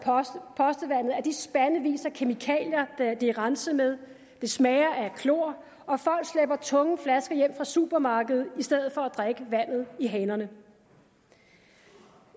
postevandet af de spandevis af kemikalier det er renset med det smager af klor og folk slæber tunge flasker hjem fra supermarkedet i stedet for at drikke vandet i hanerne